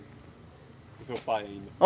Com seu pai ainda.